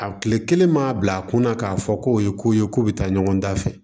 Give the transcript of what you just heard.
A kile kelen maa bil'a kunna k'a fɔ ko o ye ko ye ko bi taa ɲɔgɔn da fɛ